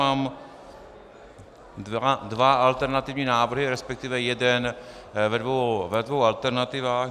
Mám dva alternativní návrhy, respektive jeden ve dvou alternativách.